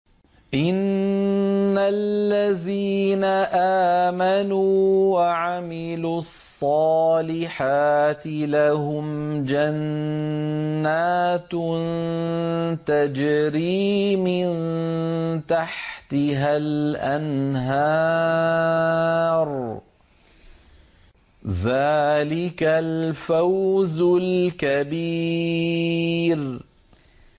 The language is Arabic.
إِنَّ الَّذِينَ آمَنُوا وَعَمِلُوا الصَّالِحَاتِ لَهُمْ جَنَّاتٌ تَجْرِي مِن تَحْتِهَا الْأَنْهَارُ ۚ ذَٰلِكَ الْفَوْزُ الْكَبِيرُ